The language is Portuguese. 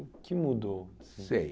O que mudou? Sei